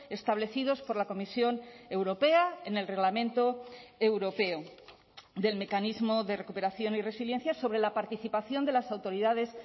establecidos por la comisión europea en el reglamento europeo del mecanismo de recuperación y resiliencia sobre la participación de las autoridades